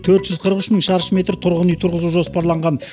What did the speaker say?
төрт жүз қырық үш мың шаршы метр тұрғын үй тұрғызу жоспарланған